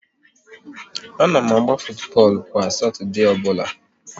A na m agba futubọọlụ kwa Satọdee ọbụla